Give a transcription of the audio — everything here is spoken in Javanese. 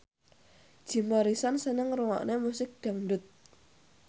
Jim Morrison seneng ngrungokne musik dangdut